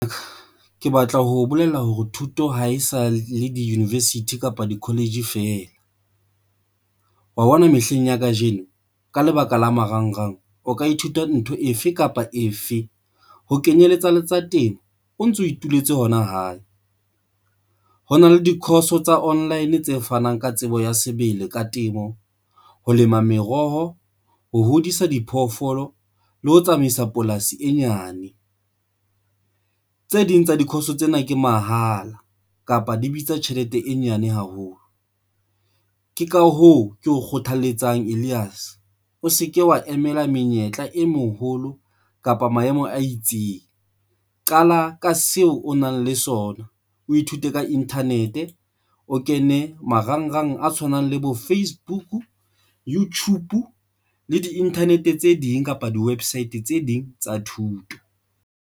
Ke batla ho bolella hore thuto ha e sa le di-university kapa di-college fela wa bona. Mehleng ya kajeno, ka lebaka la marangrang o ka ithuta ntho efe kapa efe ho kenyeletsa le tsa temo, o ntso ituletse hona hae. Ho na le di-course tsa online tse fanang ka tsebo ya sebele ka temo, ho lema meroho, ho hodisa diphoofolo le ho tsamaisa polasi e nyane. Tse ding tsa di-course tsena ke mahala kapa di bitsa tjhelete e nyane haholo. Ke ka hoo ke o kgothaletsang Elias. O se ke wa emela menyetla e moholo kapa maemo a itseng. Qala ka seo o nang le sona, o ithute ka internet, o kene marangrang a tshwanang le bo Facebook, YouTube le di-internet tse ding kapa di website tse ding tsa thuto.